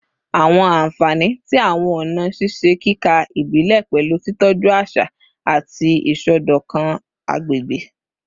Awọn anfani ti awọn ọna ṣiṣe kika ibile pẹlu titọju aṣa ati isọdọkan agbegbe